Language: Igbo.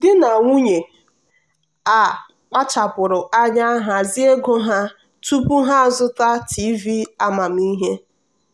di na nwunye a kpachapụrụ anya hazie ego ha tupu ha azụta tv amamihe.